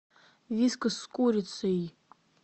вискас с курицей